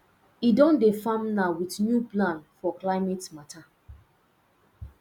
e don dey farm now with new plan for climate matter